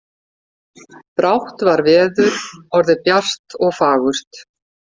Brátt var veður orðið bjart og fagurt.